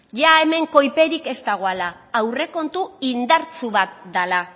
ia hemen koiperik ez dagoela aurrekontu indartsu bat dela